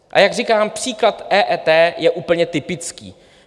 A jak říkám, příklad EET je úplně typický.